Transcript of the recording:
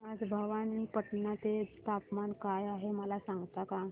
आज भवानीपटना चे तापमान काय आहे मला सांगता का